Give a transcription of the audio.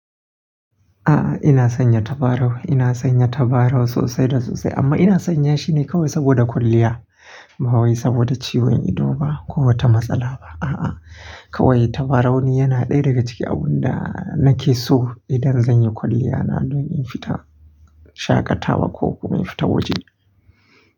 A'a, ina sanya tabarau. Ina sanya tabarau sosai da sosai amma ina sanya shine kawai saboda kwalliya ba wai saboda ciwon ido ba ko wata matsala ba. A'a, kawai tabarau ni yana ɗaya daga cikin abun da nake so idan zan yi kwalliya na don in fita shaƙatawa ko kuma in fita waje.